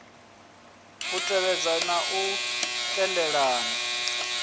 u tevhedza na u tendelana